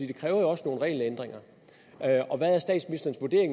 det kræver jo også nogle regelændringer og hvad er